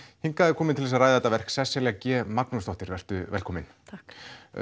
hingað er komin til að ræða þetta verk Sesselja g Magnúsdóttir vertu velkomin takk